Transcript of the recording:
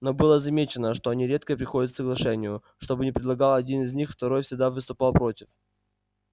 но было замечено что они редко приходят к соглашению что бы ни предлагал один из них второй всегда выступал против